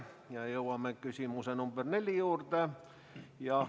Ja jõuame küsimuse nr 4 juurde.